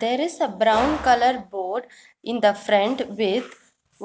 There is a brown colour board in the front with